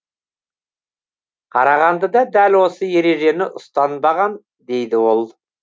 қарағандыда дәл осы ережені ұстанбаған дейді ол